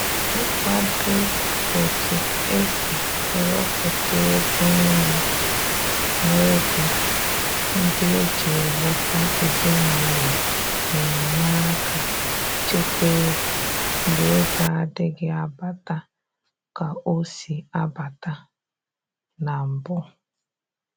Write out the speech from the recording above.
Ị kwado otu e si ewepụta ego nri na ego ndị eji eleta ezinaụlọ na-enye aka ịchekwa ego mgbe ego adịghị abata ka ọ si abata na mbụ